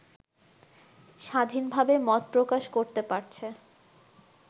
স্বাধীনভাবে মত প্রকাশ করতে পারছে